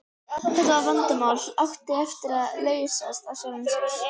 Þetta vandræðamál átti eftir að leysast af sjálfu sér.